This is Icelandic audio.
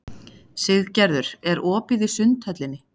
Siggerður, er opið í Sundhöllinni?